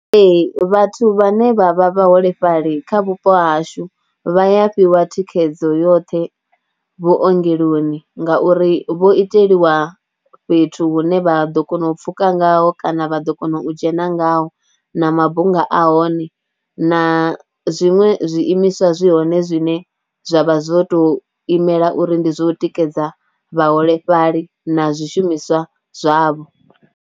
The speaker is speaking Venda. Ee vhathu vhane vha vha vhaholefhali kha vhupo hashu vha ya fhiwa thikhedzo yoṱhe vhuongeloni ngauri vho iteliwa fhethu hune vha ḓo kona u pfhuka ngaho kana vha ḓo kona u u dzhena ngaho na mabunga a hone, na zwiṅwe zwi imiswa zwi hoṋe zwine zwa vha zwo tou imela uri ndi zwo tikedza vhaholefhali na zwishumiswa zwavho.